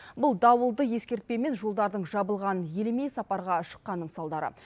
бұл дауылды ескертпе мен жолдардың жабылғанын елемей сапарға шыққанның салдары